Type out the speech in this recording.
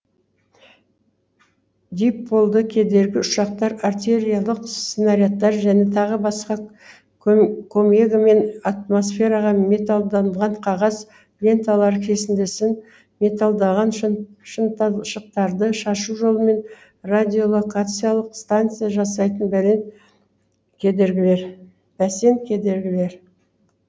дипольды кедергі ұшақтар артериялық снарядтар және тағы басқа комегімен атмосферага металданған қағаз ленталар кесіндісін металданған шыныталшықтарды шашу жолымен радиолокациялық станция жасайтын бәсен кедергілер